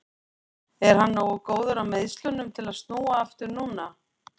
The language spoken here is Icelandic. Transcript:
En er hann nógu góður af meiðslunum til að snúa aftur núna?